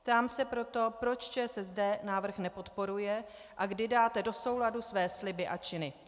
Ptám se proto, proč ČSSD návrh nepodporuje a kdy dáte do souladu své sliby a činy.